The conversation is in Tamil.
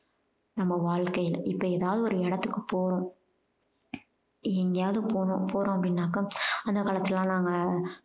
நம்ம வாழ்க்கையில. இப்போ ஏதாவது ஒரு இடத்துக்கு போறோம். எங்கையாவது போணோம்~ போறோம் அப்படினாக்கா அந்த காலத்துலெலாம் நாங்க